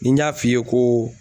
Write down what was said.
Ni n y'a f'i ye ko